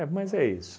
mas é isso.